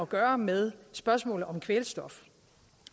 gøre med spørgsmålet om kvælstof